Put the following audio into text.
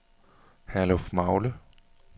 Herlufmagle